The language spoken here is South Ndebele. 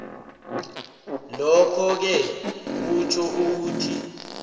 lokhoke kutjho ukuthi